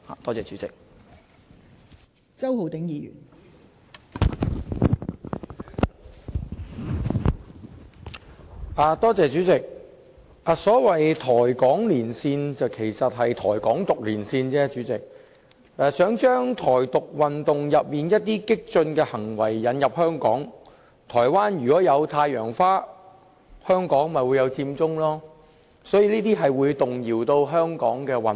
代理主席，所謂"台港連線"，其實只是"台港獨連線"，想將"台獨"運動當中一些激進行為引入香港，台灣如果有太陽花，香港便有佔中，這些行為都會動搖香港的穩定。